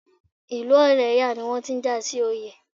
Ìlú Ọ̀lẹ́yọ̀ ni wọ́n ti ń jà sí oyè.